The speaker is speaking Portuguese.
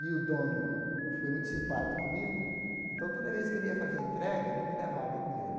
E o dono foi muito simpático comigo, então toda vez que ele ia fazer entrega, ele me levava com ele.